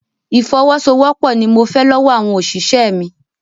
Ìfọwọ́sowọ́pọ̀ ni mo fẹ́ lọ́wọ́ àwọn òṣìṣẹ́ mi.